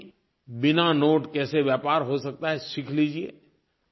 आप भी बिना नोट कैसे व्यापार हो सकता है सीख लीजिए